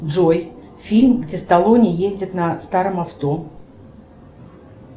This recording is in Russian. джой фильм где сталлоне ездит на старом авто